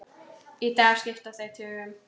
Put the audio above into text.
Í dag skipta þau tugum.